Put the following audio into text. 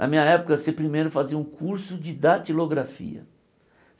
Na minha época, você primeiro fazia um curso de datilografia.